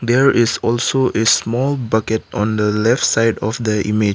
there is also a small bucket on the left side of the image.